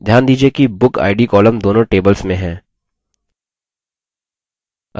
ध्यान दीजिये कि bookid column दोनों tables में हैं